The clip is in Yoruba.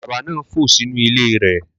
Àdàbà náà fò sínú ilé rẹ